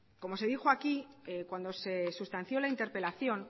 como se dijo aquí cuando se sustanció la interpelación